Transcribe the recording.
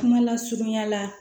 Kuma lasurunya la